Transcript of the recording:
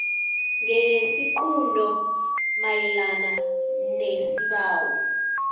ngesiqunto mayelana nesibawo